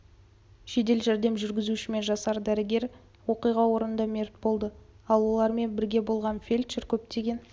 жедел жәрдем жүргізушісі мен жасар дәрігер оқиға орнында мерт болды ал олармен бірге болған фельдшер көптеген